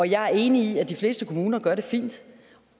jeg er enig i at de fleste kommuner gør det fint